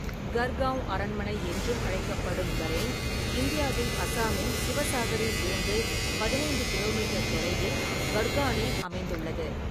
கர்காவ் அரண்மனை என்றும் அழைக்கப்படும் கரேங், இந்தியாவின் அசாமின் சிவசாகரில் இருந்து பதினைந்துகிலோமீட்டர் தொலைவில் கர்கானில் அமைந்துள்ளது.